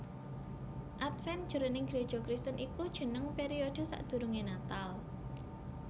Adven jroning Gréja Kristen iku jeneng periode sadurungé Natal